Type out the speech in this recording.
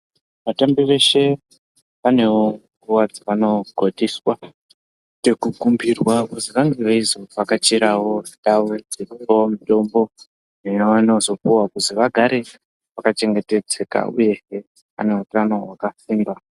Vatambi veshe panewo nguwa dzavokotiswa ngeku kumbirwa kuzi vange veizo vhakachirawo ndau dzekungewo mutombo yavano zopuwa kuzi vagare vaka chengetedzeka uyezve vane utano hwakasimba.